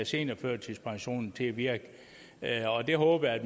seniorførtidspensionen til at virke det håber jeg